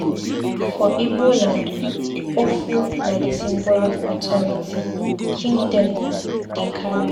For Ibo land, ofo na di symbol of authority. King dem dey carry am.